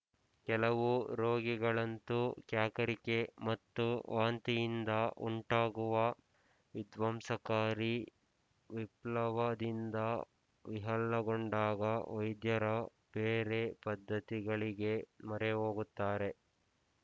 ಕೆಲವು ರೋಗಿಗಳಂತೂ ಕ್ಯಾಕರಿಕೆ ಮತ್ತು ವಾಂತಿಯಿಂದ ಉಂಟಾಗುವ ವಿಧ್ವಂಸಕಾರಿ ವಿಪ್ಲವದಿಂದ ವಿಹ್ವಲಗೊಂಡಾಗ ವೈದ್ಯರ ಬೇರೆ ಪದ್ಧತಿಗಳಿಗೆ ಮೊರೆಹೋಗುತ್ತಾರೆ